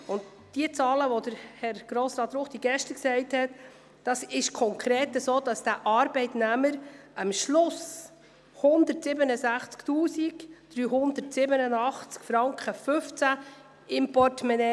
Bei den Zahlen, welche Grossrat Ruchti aufzählte, hätte der Arbeitnehmer am Schluss konkret 167 387,15 Franken in seinem Portemonnaie.